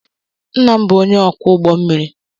Ńnà m bụ ónyé ọkwọ ụgbọ mmiri.